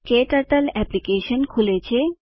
ક્ટર્ટલ application ખુલે છે